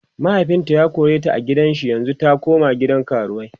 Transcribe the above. mahaifinta ya koreta a gidan shi yanzun ta koma gidan karuwai